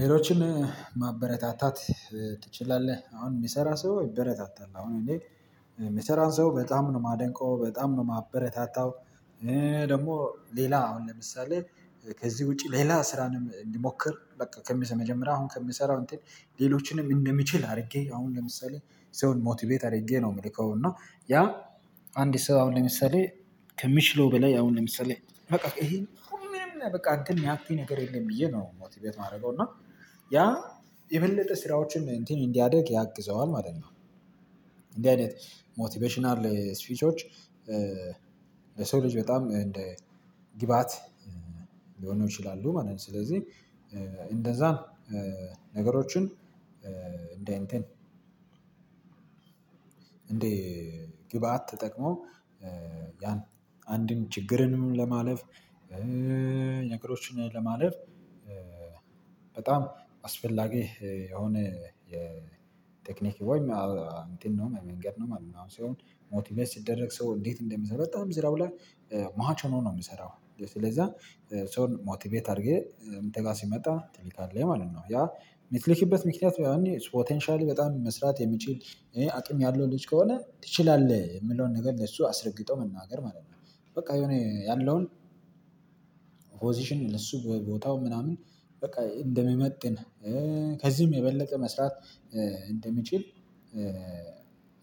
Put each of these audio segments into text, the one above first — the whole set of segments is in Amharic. ሌሎችን ማበረታታት ትችላለህ? አሁን የሚሰራ ሰው ይበረታታል አሁን እኔ የሚሰራን ሰው በጣም ነው የማደንቀው በጣም ነው የማበረታታው። እኔ ደግሞ ሌላ አሁን ለምሳሌ ከዚህ ውጪ ሌላ ስራንም እንዲሞክር በቃ ከሚሰመጀመሪያው አሁን ከምሰራው እንትን ሌሎችንም እንደምችል አድርጌ አሁን ለምሳሌ ሰውን ሞቲቬት አድርጌ ነው የምልከው። እና ያ አንድ ሰው አሁን ለምሳሌ ከሚችለው በላይ አሁን ለምሳሌ በቃ ይሄ ሁሉንም በቃ አንተም ያክል ነገር የለም ብዬ ነው ሞቲቬት የማደርገው እና ያ የበለጠ ስራዎችን እንትን እንዲያድግ ያግዘዋል ማለት ነው። እንዲህ አይነት ሞቲቬሽናል ስፒቾች በሰው ልጅ በጣም እንደ ግብአት ሊሆን ይችላል ማለት ነው። ስለዚህ እንደዛን ነገሮችን እንደ እንትን እንዴ ግብአት ተጠቅሞ ያን አንድን ችግርንም ለማለፍ ነገሮችን ለማለፍ በጣም አስፈላጊ የሆነ የቴክኒክ ወይም እንትን ነው መንገድ ነው። ምናምን ሲሆን ሞቲቬት ሲደረግ ሰው እንዴት እንደሚሰራ በጣም ስራው ላይ ማች ሆኖ ነው የምሰራው። ስለዛ ሰውን ሞቲቬት አድርጌ እንተጋ ሲመጣ ትልካለህ ማለት ነው ያ የምትልክበት ምክንያት በያኔ ፖቴንሻል በጣም መስራት የሚችል አቅም ያለው ልጅ ከሆነ ትችላለህ የምለውን ነገር ለሱ አስረግጦ መናገር ማለት ነው። በቃ የሆነ ያለውን ፖዚሽን ለሱ ቦታው ምናምን በቃ እንደሚመጥን ከዚህም የበለጠ መስራት እንደሚችል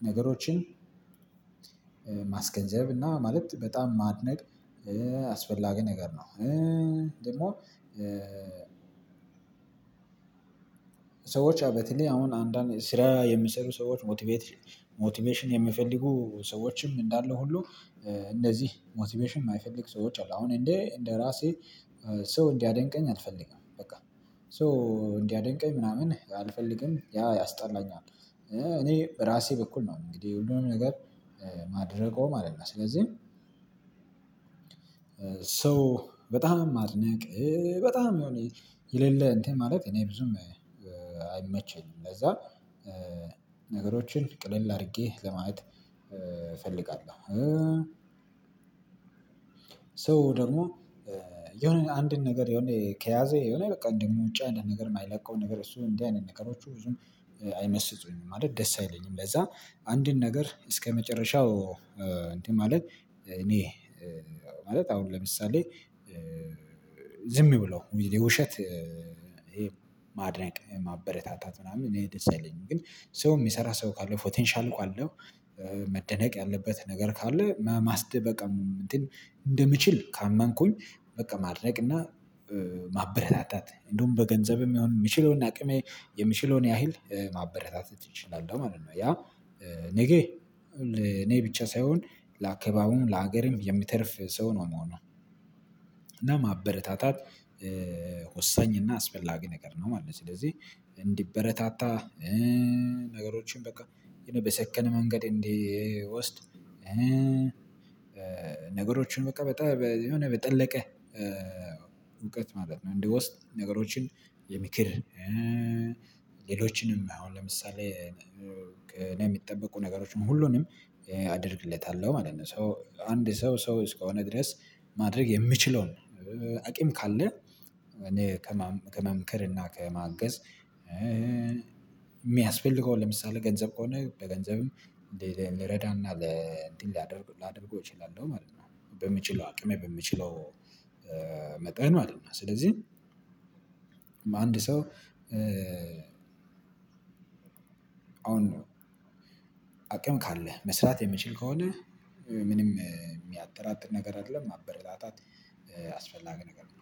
ነገሮችን ማስገንዘብ እና ማለት በጣም ማድነቅ አስፈላጊ ነገር ነው። ደግሞ ሰዎች በተለይ አሁን አንዳንድ ስራ የሚሰሩ ሰዎች ሞቲቬሽን የሚፈልጉ ሰዎችም እንዳሉ ሁሉ እነዚህ ሞቲቬሽን የማይፈልግ ሰዎች አሉ አሁን እንዴ እንደራሴ ሰው እንዲያደንቀኝ አልፈልግም። በቃ ሶ እንዲያደንቀኝ ምናምን አልፈልግም ያ ያስጠላኛል። እኔ በራሴ በኩል ነው እንግዲህ ሁሉም ነገር ማደርገው ማለት ነው። ስለዚህ ሰው በጣም ማድነቅ በጣም የሆነ የሌለ እንትን ማለት እኔ ብዙም አይመቸኝም። ለዛ ነገሮችን ቅልል አድርጌ ለማየት እፈልጋለሁ። ሰው ደግሞ የሆነ አንድን ነገር የሆነ ከያዘ የሆነ በቃ እንደውም ውጪ አንደአንድ ነገር የማይለቀው ነገር እሱ እንዲህ አይነት ነገሮች ብዙም አይመስጡኝም ማለት ደስ አይለኝም። ለዛ አንድን ነገር እስከመጨረሻው እንትን ማለት እኔ ማለት አሁን ለምሳሌ ዝም ብሎ የውሸት ይሄ ማድነቅ ማበረታታት ምናምን እኔ ደስ የለኝም። ግን ሰው የሚሰራ ሰው ካለው ፖቴንሻል ካአለው መደነቅ ያለበት ነገር ካለ ማስደ በቃ እንትን እንደምችል ካመንኩኝ በቃ ማድነቅ እና ማበረታት እንደውም በገንዘብ የሚሆን የምችለውና አቅሜ የምችለውን ያህል ማበረታተት እንችላለው ማለት ነው። ያ ነገ እኔ ብቻ ሳይሆን ለአካባቢውም ለሀገርም የሚተርፍ ሰው ነው ምሆነውን እና ማበረታታት ወሳኝ እና አስፈላጊ ነገር ነው ማለት ነው። ስለዚህ እንዲበረታታ ነገሮችን በቃ የሆነ በሰከነ መንገድ እንዲወስድ ነገሮችን በቃ በጣም የሆነ በጠለቀ እውቀት ማለት ነው። እንዲ ወስድ ነገሮችን የምክር ሌሎችንም አሁን ለምሳሌ ከኔ የሚጠበቁ ነገሮችን ሁሉንም አደርግለታለሁ ማለት ነው። ሶ አንድ ሰው ሰው እስከሆነ ድረስ ማድረግ የምችለውን አቂም ካለ እኔ ከመምከር እና ከመአገዝ የሚያስፈልገው ለምሳሌ ገንዘብ ከሆነ በገንዘብም ልረዳና ለእንዲህ ላደርግ ላደርግ እችላለሁ ማለት ነው። በምችለው አቅሜ በምችለው መጠን ማለት ነው። ስለዚህ አንድ ሰው አሁን ነው አቅም ካለህ መስራት የምችል ከሆነ ምንም የሚያጠራጥር ነገር አይደለም ማበረታታት አስፈላጊ ነገር ነው